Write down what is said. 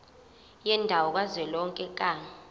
yendawo kazwelonke ka